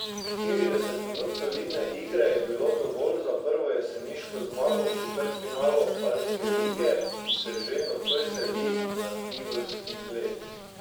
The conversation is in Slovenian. Štirideset minut solidne igre je bilo dovolj za prvo jeseniško zmago v četrtfinalu alpske lige, ki se že nocoj seli na tivolski led.